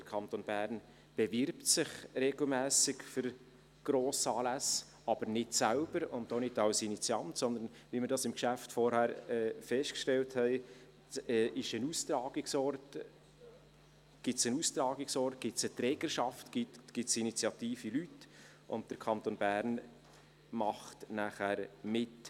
Der Kanton Bern bewirbt sich regelmässig für Grossanlässe, aber nicht selber und auch nicht als Initiant, sondern, wie wir im Geschäft vorhin festgestellt haben, gibt es einen Austragungsort, eine Trägerschaft, initiative Leute, und der Kanton Bern macht nachher mit.